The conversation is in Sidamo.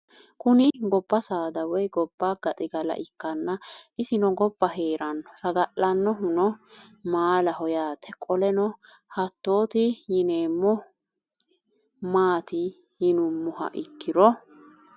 Kuni doba saada woyi goba gaxigala ikana isino goba heerano sagalenohu no maalaho yaate qoleno hatoti yinemo maati yinumoha ikiro